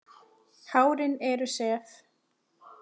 Hárin eru sef.